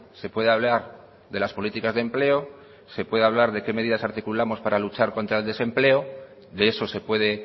se puede hablar de las políticas de empleo se puede hablar de qué medidas articulamos para luchar contra el desempleo de eso se puede